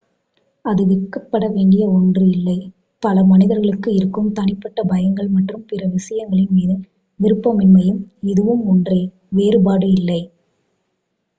அது வெட்கப்பட வேண்டிய ஒன்று இல்லை பல மனிதர்களுக்கு இருக்கும் தனிப்பட்ட பயங்கள் மற்றும் பிற விஷயங்களின் மீது விருப்பமின்மையும் இதுவும் ஒன்றே வேறுபாடு இல்லை